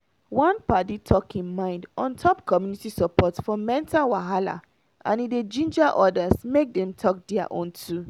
one padi talk him mind on top community support for mental wahala and e de ginger others make dem talk their own too